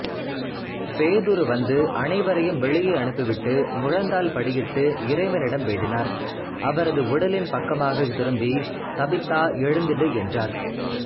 பேதுரு வந்து அனைவரையும் வெளியே அனுப்பிவிட்டு முழந்தாள்படியிட்டு இறைவனிடம் வேண்டினார் அவரது உடலின் பக்கமாகத் திரும்பி தபித்தா எழுந்திடு என்றார்